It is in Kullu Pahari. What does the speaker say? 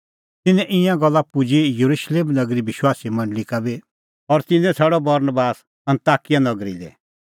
तिन्नें ईंयां गल्ला पुजी येरुशलेम नगरी विश्वासीए मंडल़ी का बी और तिन्नैं छ़ाडअ बरनबास अन्ताकिया नगरी लै